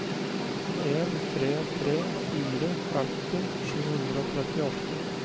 en tre tre fire femti sju hundre og trettiåtte